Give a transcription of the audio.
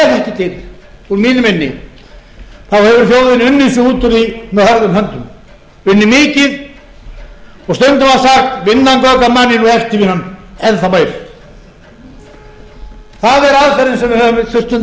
því með hörðum höndum unnið mikið og stundum var sagt vinnan göfgar manninn og eftirvinnan enn þá meir það er aðferðin sem við höfum stundum þurft